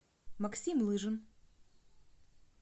максим лыжин